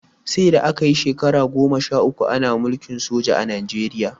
Saida aka yi shekara goma sha uku Ana mulkin soja a Najeriya